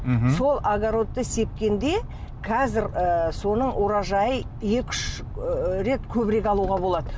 мхм сол огородты сепкенде қазір ы соның урожайы екі үш ыыы рет көбірек алуға болады